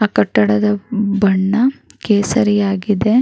ಆ ಕಟ್ಟಡದ ಬಣ್ಣ ಕೇಸರಿ ಆಗಿದೆ.